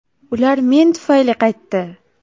Ular men tufayli qaytdi!